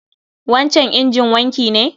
wancan injin wanki ne?